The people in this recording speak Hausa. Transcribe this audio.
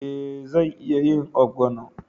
Eh, zan iya yin ogbono